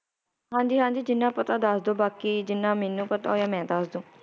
ਹਾਂਜੀ ਹਾਂਜੀ ਜਿੰਨਾ ਪਤਾ ਦੱਸਦੋ ਬਾਕੀ ਜਿਨਾਂ ਮੈਨੂੰ ਪਤਾ ਹੋਇਆ ਮੈ ਦੱਸਦੂ